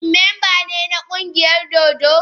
Shin mamba ne na kungiyar dodo?